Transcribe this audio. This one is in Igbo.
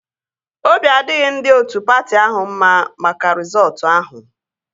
Obi adịghị ndị otu patị ahụ mma maka rịzọọtu ahụ